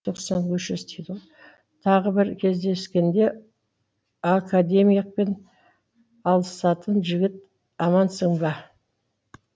тағы бір кездескенде академикпен алысатын жігіт амансың ба